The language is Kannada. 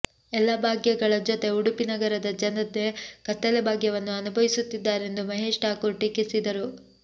ಎಲ್ಲ ಭಾಗ್ಯಗಳ ಜೊತೆ ಉಡುಪಿ ನಗರದ ಜನತೆ ಕತ್ತಲೆ ಭಾಗ್ಯವನ್ನು ಅನುಭವಿಸುತ್ತಿದ್ದಾರೆಂದು ಮಹೇಶ್ ಠಾಕೂರ್ ಟೀಕಿಸಿದರು